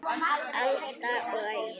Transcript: Alda og Ægir.